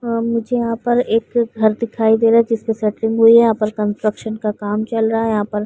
और मुझे यहाँ पर एक घर दिखाई दे रहा है। जिसके सेटरिंग हुई है। यहाँ पर कंस्ट्रक्शन का काम चल रहा है। यहाँ पर --